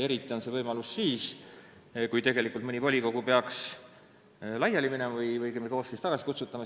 Eriti avaneb see võimalus siis, kui mõni volikogu peaks laiali minema või õigemini koosseis tagasi kutsutama.